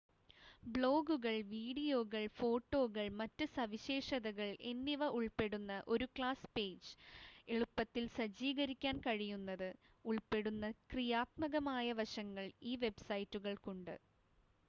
ബ്ലോഗുകൾ വീഡിയോകൾ ഫോട്ടോകൾ മറ്റ് സവിശേഷതകൾ എന്നിവ ഉൾപ്പെടുന്ന ഒരു ക്ലാസ് പേജ് എളുപ്പത്തിൽ സജ്ജീകരിക്കാൻ കഴിയുന്നത് ഉൾപ്പെടുന്ന ക്രിയാത്മകമായ വശങ്ങൾ ഈ വെബ്‌സൈറ്റുകൾക്കുണ്ട്